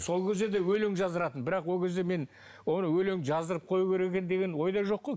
сол кезде де өлең жаздыратын бірақ ол кезде мен өлең жаздырып қою керек екен деген ойда жоқ қой